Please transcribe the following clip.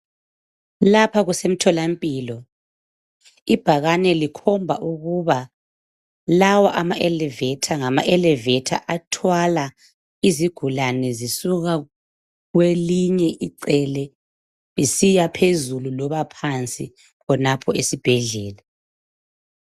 Lapha kusemtholampilo, ibhakane likhomba ukuba lawa ama 'Elavator' ngama 'Elavator' athwala izigulane zisuka kwelinye icele zisiya phezulu loba phansi khonapho esibhedlela.